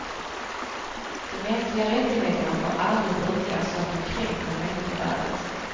De mänskliga rättigheterna får aldrig brukas så att de kränker människovärdet.